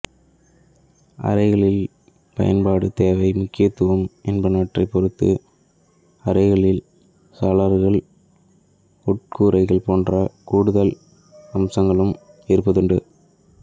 அரைகளின் பயன்பாடு தேவை முக்கியத்துவம் என்பவற்றைப் பொறுத்து அறைகளில் சாளரங்கள் உட்கூரைகள் போன்ற கூடுதல் அம்சங்களும் இருப்பதுண்டு